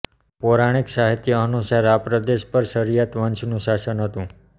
પૌરાણિક સાહિત્ય અનુસાર આ પ્રદેશ પર શાર્યત વંશનું શાસન હતું